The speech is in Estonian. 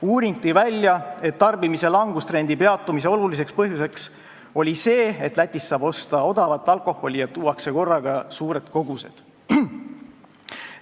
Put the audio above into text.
Uuring tõi välja, et tarbimise langustrendi peatumise oluline põhjus oli see, et Lätist saab osta odavat alkoholi ja korraga tuuakse suuri koguseid.